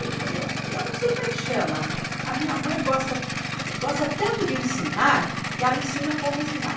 Ele falou, eu não sei como é que chama, a minha mãe gosta gosta tanto de ensinar, que ela ensina como ensinar.